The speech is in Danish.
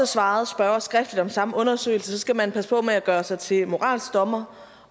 svaret spørgeren skriftligt om samme undersøgelse skal man passe på med at gøre sig til moralsk dommer